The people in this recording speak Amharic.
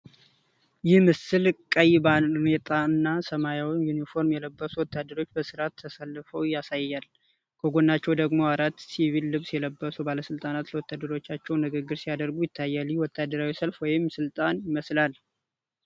ይህ ምስል ቀይ ባርኔጣና ሰማያዊ ዩኒፎርም የለበሱ ወታደሮች በሥርዓት ተሰልፈው ያሳያል። ከጎናቸው ደግሞ አራት ሲቪል ልብስ የለበሱ ባለስልጣናት ለወታደሮቹ ንግግር ሲያደርጉ ይታያል። ይህ ወታደራዊ ሰልፍ ወይም ስልጠና ይመስላል።